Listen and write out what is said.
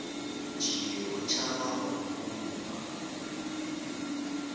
tšee o tšhaba go kunywa